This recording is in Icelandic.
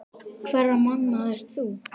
Hverra manna ert þú?